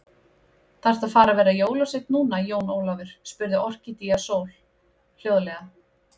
Þaðrftu að fara að vera jólasveinn núna, Jón Ólafur, spurði Orkídea Sól hljóðlega.